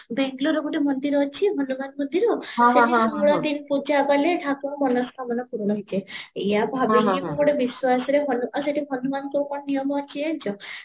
ବାଙ୍ଗଲୋରାରେ ଗୋଏଟ ମନ୍ଦିର ଅଛି ହନୁମାନ ମନ୍ଦିର ପୂଜା କାଲେ ଠାକୁର ମନ ସ୍କାମନା ପୂର୍ଣା ହେଇଯାଏ ଏଇଆ ଭାବିକି ମୁଁ ଗୋଟେ ବିଶ୍ଵାସରେ ହନୁମାନ ସେଠି ହନୁମାନ ଯୋଉ କଣ ନିୟମ ଅଛି ଜାଣିଚ